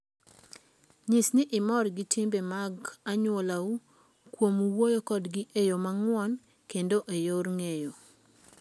Nyis ni imor gi timbe mag anyuolau kuom wuoyo kodgi e yo mang'won kendo e yor ng'eyo.